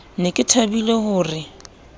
ne ke thabile ho re